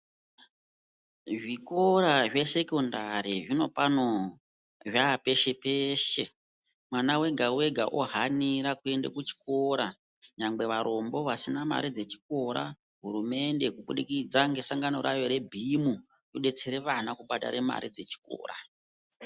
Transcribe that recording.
Zvikora zvesekondari zvinopani zvapeshe-peshe mwana vega-vega, ohanira kuende kuchikora nyangwe varombo vasina mare dzechikora. Hurumende kubudikidza ngesangano rayo rebhimu robetsera vana kubhadhara mare dzechikora.